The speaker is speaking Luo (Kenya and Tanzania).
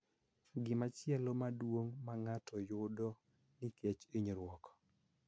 Gimachielo maduong� ma ng�ato yudo nikech hinyruok